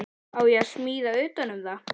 Á ég að smíða utan um það?